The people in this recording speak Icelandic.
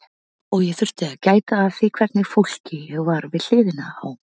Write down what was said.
Og ég þurfti að gæta að því hvernig fólki ég var við hliðina á.